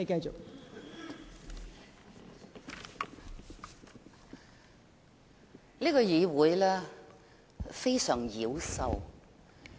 這個議會非常妖獸。